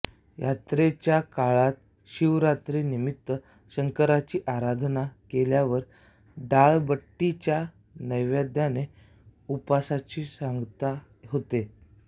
यात्रेच्या काळात शिवरात्री निमित्त शंकराची आराधना केल्यावर डाळबट्टीच्या नैवेद्यानेच उपासाची सांगता होते